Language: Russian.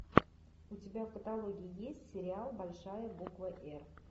у тебя в каталоге есть сериал большая буква р